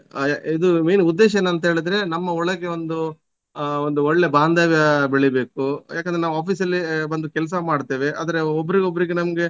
ಇದು main ಉದ್ದೇಶ ಏನ್ ಅಂತ ಹೇಳಿದ್ರೆ ನಮ್ಮ ಒಳಗೆ ಒಂದು ಆ ಒಂದು ಒಳ್ಳೆ ಬಾಂದವ್ಯ ಬೆಳಿಬೇಕು ಏಕಂದ್ರೆ ನಾವು office ಅಲ್ಲಿ ಬಂದು ಕೆಲಸ ಮಾಡ್ತೇವೆ ಆದ್ರೆ ಒಬ್ರಿಗೆ ಒಬ್ರಿಗೆ ನಮ್ಗೆ